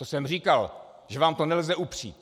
To jsem říkal, že vám to nelze upřít.